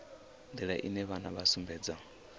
nḓila ine vhana vha sumbedza